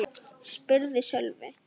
spurði Sölvi.